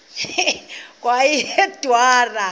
kweyedwarha